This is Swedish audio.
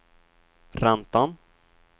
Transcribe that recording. räntan